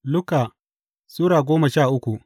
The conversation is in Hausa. Luka Sura goma sha uku